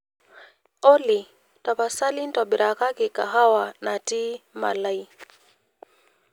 olly tapasali intobirakaki kahawa natii malai